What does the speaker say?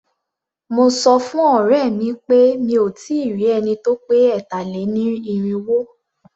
Mo sọ fún ọ̀rẹ́ mi pé mí ò tí ì rí ẹni tí ó pé ẹ̀tà-lé-ní-irínwó.